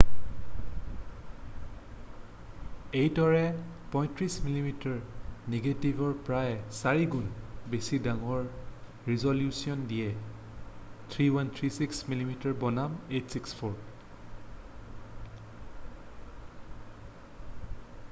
এইটোৱে 35মিমিৰ নেগেটিভৰ প্ৰায় 4 গুণ বেছি ডাঙৰ ৰিজলিউশ্যন দিয়ে 3136 মিমি² বনাম 864।